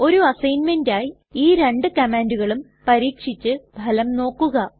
ഒരു അസ്സൈഗ്ന്മെന്റ് ആയി ഈ രണ്ടു കമ്മാൻണ്ടുകളും പരീക്ഷിച്ചു ഫലം നോക്കുക